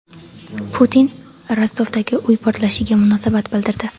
Putin Rostovdagi uy portlashiga munosabat bildirdi.